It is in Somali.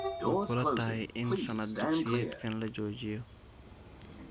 Ma kula tahay in sannad dugsiyeedkan la joojiyo?